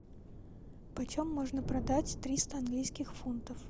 почем можно продать триста английских фунтов